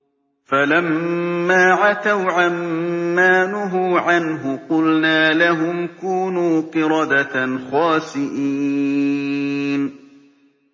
فَلَمَّا عَتَوْا عَن مَّا نُهُوا عَنْهُ قُلْنَا لَهُمْ كُونُوا قِرَدَةً خَاسِئِينَ